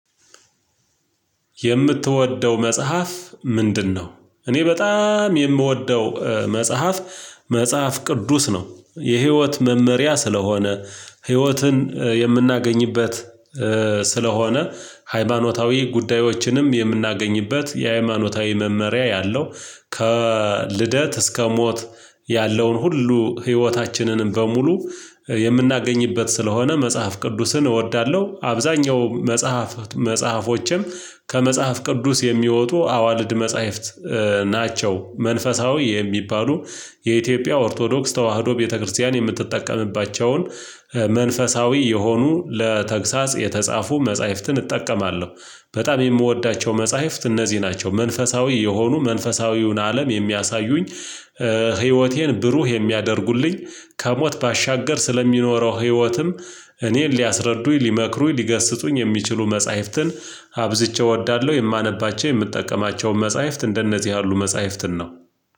የምትወደው መጽሐፍ ምንድነው? እኔ በጣም የምወደው መጽሐፍ መጽሐፍ ቅዱስ ነው። የህይወት መመሪያ ስለሆነ ህይወትን የምናገኝበት ስለሆነ ሃይማኖታዊ ጉዳዮችንም የምናገኝበት የሃይማኖታዊ መመሪያ ያለው ከልደት እስከ ሞት ያለውን ሁሉ ህይወታችንንም በሙሉ የምናገኝበት ስለሆነ መጽሐፍ ቅዱስን እወዳለሁ። አብዛኛው መጽሐፍ መጽሐፎችን ከመጽሐፍ ቅዱስ የሚወጡ አዋልድ መጽሐፍት ናቸው። መንፈሳዊ የሚባሉ የኢትዮጵያ ኦርቶዶክስ ተዋህዶ ቤተክርስቲያን የምትጠቀምባቸውን መንፈሳዊ የሆኑ ለተግሳጽ የተጻፉ መጽሐፍትን እጠቀማለሁ በጣም የምወዳቸው መጽሐፍት እነዚህ ናቸው። መንፈሳዊ የሆኑ መንፈሳዊውን አለም የሚያሳዩኝ ህይወቴን ብሩህ የሚያደርጉልኝ ከሞት ባሻገር ስለሚኖረው ህይወትም እኔን ሊያስረዱኝ ሊመክሩኝ ሊገስጡኝ የሚችሉ መጽሐፍትን አብዝቼ እወዳለሁ የማነባቸው የምጠቀማቸውን መጽሐፍት እንደነዚህ ያሉ መጽሐፍትን ነው።